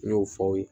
N y'o fɔ aw ye